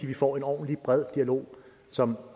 vi får en ordentlig og bred dialog som